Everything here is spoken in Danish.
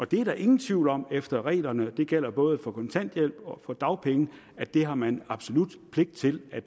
det er der ingen tvivl om efter reglerne og det gælder både for kontanthjælp og for dagpenge at det har man absolut pligt til at